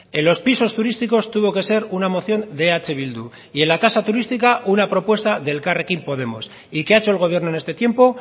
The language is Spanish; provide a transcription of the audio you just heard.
en los pisos turísticos tuvo que ser una moción de eh bildu y en la tasa turística una propuesta de elkarrekin podemos y qué ha hecho el gobierno en este tiempo